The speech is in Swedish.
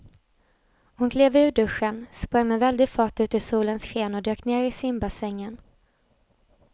Hon klev ur duschen, sprang med väldig fart ut i solens sken och dök ner i simbassängen.